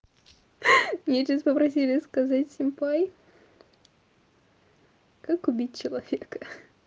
мне сейчас попросили сказать семпай как убить человека